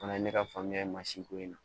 Fana ye ne ka faamuya ye mansin ko in na